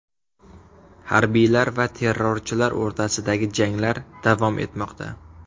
Harbiylar va terrorchilar o‘rtasidagi janglar davom etmoqda.